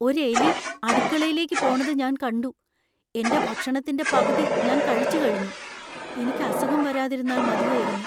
ഒരു എലി അടുക്കളയിലേക്ക് പോണത് ഞാൻ കണ്ടു. എന്‍റെ ഭക്ഷണത്തിന്‍റെ പകുതി ഞാൻ കഴിച്ചുകഴിഞ്ഞു. എനിക്ക് അസുഖം വരാതിരുന്നാൽ മതിയായിരുന്നു.